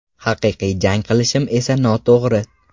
Haqiqiy jang qilishim esa noto‘g‘ri.